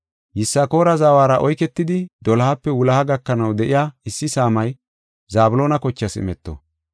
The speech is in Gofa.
Yisakoora zawara oyketidi, dolohape wuloha gakanaw de7iya issi saamay Zabloona kochaas imeto.